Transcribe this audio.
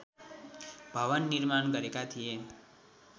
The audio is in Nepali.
भवन निर्माण गरेका थिए